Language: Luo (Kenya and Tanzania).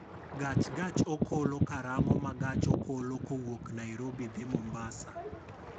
Gach gach okolo karang'o ma gach okolo kowuok nairobi dhi mombasa